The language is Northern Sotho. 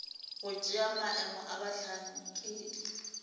go tšea maemo a bohlankedi